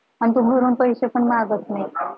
आणि तो घरून पैसे पण मागत नाही